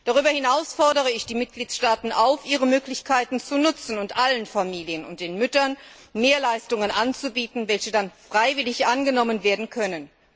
Darüber hinaus fordere ich die Mitgliedstaaten auf, ihre Möglichkeiten zu nutzen und allen Familien und den Müttern mehr Leistungen anzubieten, die dann freiwillig angenommen werden können.